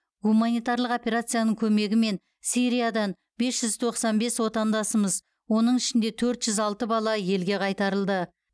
гуманитарлық операцияның көмегімен сириядан бес жүз тоқсан бес отандасымыз оның ішінде төрт жүз алты бала елге қайтарылды